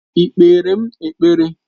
Ị́ kpere m ekpere?